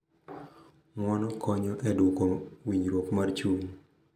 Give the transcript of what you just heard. Ng’uono konyo e duoko winjruok mar chuny